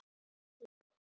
Hvíl í friði elsku Ósk.